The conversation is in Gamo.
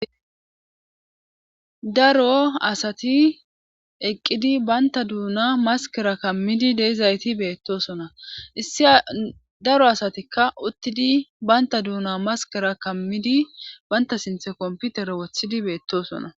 Daro asati eqqidi baynta duuna maskera kammidi deizayti beettosona issi daro asatikka uttidi baynta duuna maskera kammidi banta sinthe komputere wothidi beettosona.